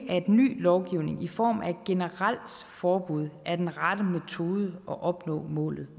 at ny lovgivning i form af et generelt forbud er den rette metode at opnå målet